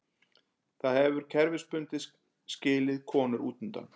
Það hefur kerfisbundið skilið konur útundan.